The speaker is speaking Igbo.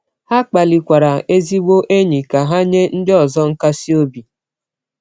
Ha kpalikwara ezigbo enyi ka ha nye ndị ọzọ nkasi obi.